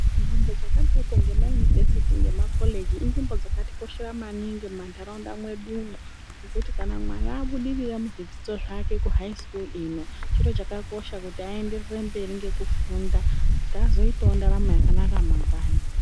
Nzvimbo dzakadayiko, ngemaunivhesiti, ngemakoleji, inzvimbo dzakatikoshera maningi mumandaraunda mwedumo, ngekuti kana mwana abudirira muzvidzidzo zvake kuhayi sikuru ino, chiro chakakosha kuti ayenderere mberi ngekufunda, kuti azoyitawo ndaramo yakanaka mangwani.